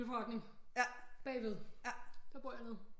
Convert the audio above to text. Cykelforretning bagved der bor jeg ved